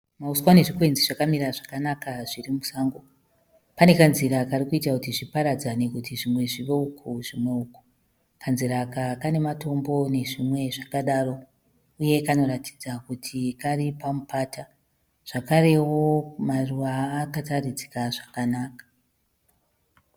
Mauswa nezvikwenzi zvakamira zvakanaka zvirimusango . Pane kanzira karikuita kuti zviparadzane kuti zvimwe zvive uko zvimwe uko. Kanzira aka kane matombo nezvinwe zvakadaro uye kanoratidza kuti kari pamupata. Zvakarewo maruva aya akaratidzika zvakanaka .